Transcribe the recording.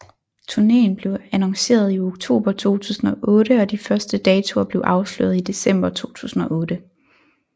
Turnéen blev annonceret i oktober 2008 og de første datoer blev afsløret i december 2008